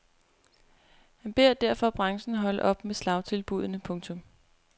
Han beder derfor branchen holde op med slagtilbudene. punktum